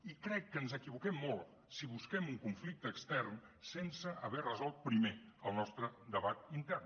i crec que ens equivoquem molt si busquem un conflicte extern sense haver resolt primer el nostre debat intern